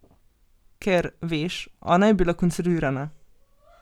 Ker, veš, ona je bila konservirana.